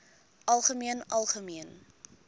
algemeen algemeen